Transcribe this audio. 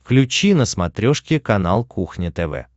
включи на смотрешке канал кухня тв